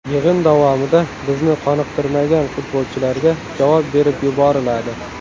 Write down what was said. Yig‘in davomida bizni qoniqtirmagan futbolchilarga javob berib yuboriladi.